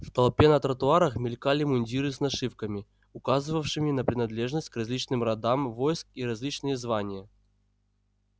в толпе на тротуарах мелькали мундиры с нашивками указывавшими на принадлежность к различным родам войск и различные звания